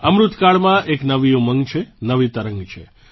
અમૃતકાળમાં એક નવી ઉંમગ છે નવી તરંગ છે